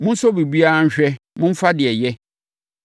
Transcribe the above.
Monsɔ biribiara nhwɛ; momfa deɛ ɛyɛ.